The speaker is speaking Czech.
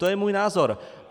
To je můj názor.